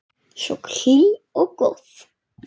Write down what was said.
Svo hlý og góð.